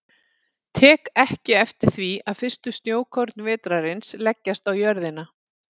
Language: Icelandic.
Tek ekki eftir því að fyrstu snjókorn vetrarins leggjast á jörðina.